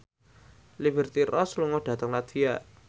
Liberty Ross lunga dhateng latvia